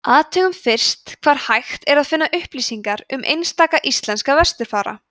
athugum fyrst hvar hægt er að finna upplýsingar um einstaka íslenska vesturfara